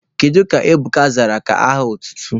Gịnị ka Ebuka zara ka aha otutu?